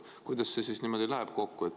Kuidas see siis niimoodi kokku läheb?